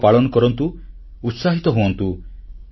ଉତ୍ସବ ପାଳନ କରନ୍ତୁ ଉତ୍ସାହିତ ହୁଅନ୍ତୁ